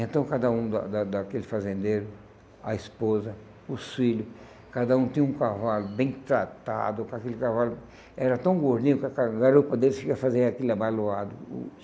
Então cada um da da daquele fazendeiro, a esposa, os filho, cada um tinha um cavalo bem tratado, com aquele cavalo... Era tão gordinho que a ca garupa deles chega fazia aquele abaloado o.